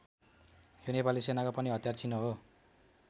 यो नेपाली सेनाको पनि हतियार चिनो हो।